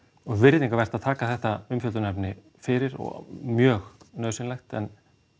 og virðingarvert að taka þetta umfjöllunarefni fyrir og mjög nauðsynlegt en